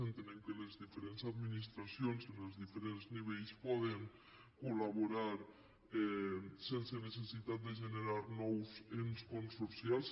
entenem que les diferents adminis·tracions en els diferents nivells poden col·laborar sen·se necessitat de generar nous ens consorcials